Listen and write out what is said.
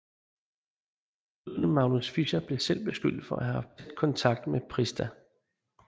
Bøddelen Magnus Fischer blev selv beskyldt for at have haft tæt kontakt med Prista